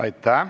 Aitäh!